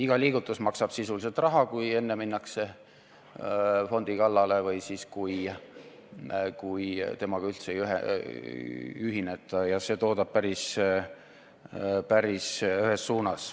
Iga liigutus maksab sisuliselt raha, kui enne minnakse fondi kallale või kui temaga üldse ei ühineta, ja see toodab päris ühes suunas.